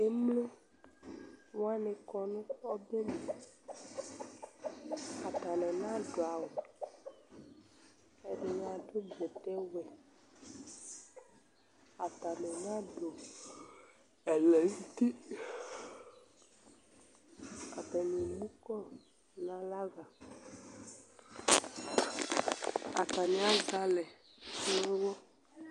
emlowani kɔ nʊ ɔbɛ li, atanɩ nadʊ awu , ɛdɩnɩ adʊ bɛtɛwɛ, atanɩ nadʊ ɛlɛnuti, atanɩ emu kɔ nalɛ ava, atani azɛ alɛ nʊ uwɔ